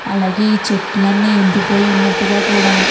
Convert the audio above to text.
అలాగే చెట్లన్నీ ఎండిపోయి ఉన్నట్టుగా కూడా --